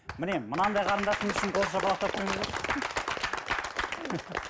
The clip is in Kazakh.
міне мынандай қарындасымыз үшін қол шапалақтап қойыңыздаршы